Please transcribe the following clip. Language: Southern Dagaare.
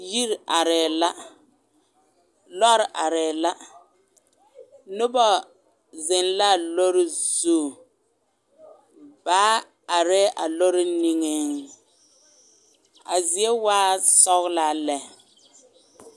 Yiri arɛɛ la lɔrɔɔ arɛɛ la noba zeŋ la a lɔrɔɔ zu baa arɛɛ a lɔrɔɔ niŋee a zie waa sɔglaa lɛ.